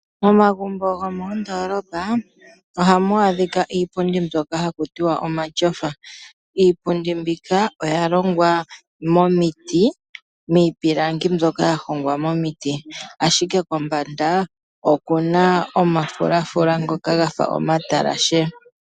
Momagumbo go moondolopa oha mu adhika iipundi mboka ha ku tiwa omatyofa. Iipundi mbika oya longwa momiti miipilangi mbyoka ya hongwa momiti, ashike kombanda okuna omafulafula ngoka ga fa omatalashe.